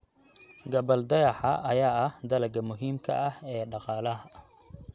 Gabbaldayaha ayaa ah dalagga muhiimka ah ee dhaqaalaha.